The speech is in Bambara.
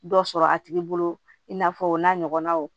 Dɔ sɔrɔ a tigi bolo i n'a fɔ o n'a ɲɔgɔnnaw